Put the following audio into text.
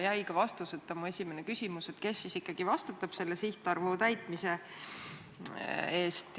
Vastuseta jäi ka mu esimene küsimus, kes siis ikkagi vastutab selle sihtarvu täitmise eest.